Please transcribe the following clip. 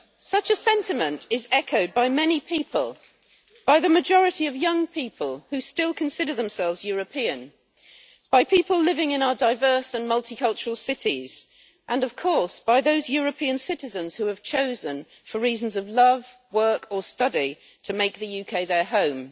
Such a sentiment is echoed by many people by the majority of young people who still consider themselves European, by people living in our diverse and multicultural cities and, of course, by those European citizens who have chosen for reasons of love, work or study to make the UK their home.